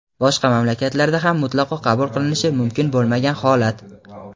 boshqa mamlakatlarda ham mutlaqo qabul qilinishi mumkin bo‘lmagan holat.